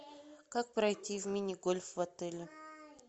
как пройти в мини гольф в отеле